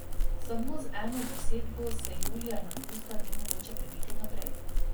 Samo z eno zasedbo se julija in avgusta ni mogoče prebiti naprej.